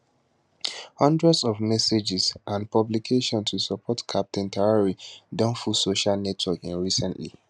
hundreds of messages and publications to support captain traore don full social networks in recently